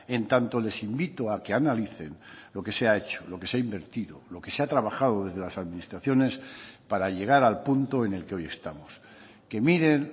en tanto les invito a que analicen lo que se ha hecho lo que se ha invertido lo que se ha trabajado desde las administraciones para llegar al punto en el que hoy estamos que miren